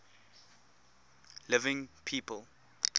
living people